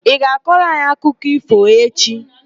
Ị ga-akọrọ anyị akụkọ ífò echi?